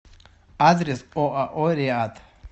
адрес оао риат